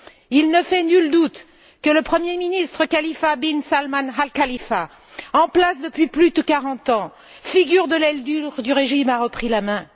Il ne fait nul doute que le premier ministre Khalifa ben Salman al Khalifa, en place depuis plus de quarante ans, figure de l'aile dure du régime, a repris la main.